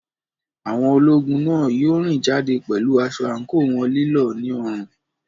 Àwọn ológun náà yóò rìn jáde pẹ̀lú aṣọ àǹkóò wọn lílọ̀ ní ọrùn.